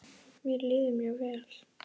Mér líður mjög vel.